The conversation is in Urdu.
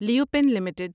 لیوپن لمیٹڈ